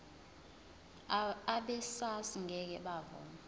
abesars ngeke bavuma